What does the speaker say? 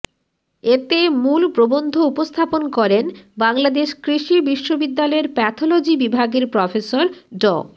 এতে মূল প্রবন্ধ উপস্থাপন করেন বাংলাদেশ কৃষি বিশ্ববিদ্যালয়ের প্যাথলজি বিভাগের প্রফেসর ড